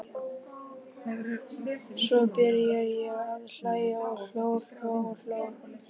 Svo byrjaði ég að hlæja og hló og hló.